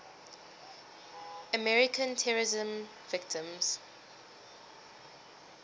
american terrorism victims